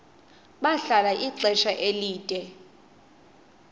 bahlala ixesha elide